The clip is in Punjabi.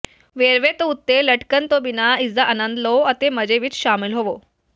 ਵੇਰਵੇ ਦੇ ਉੱਤੇ ਲਟਕਣ ਤੋਂ ਬਿਨਾਂ ਇਸਦਾ ਅਨੰਦ ਲਓ ਅਤੇ ਮਜ਼ੇ ਵਿੱਚ ਸ਼ਾਮਲ ਹੋਵੋ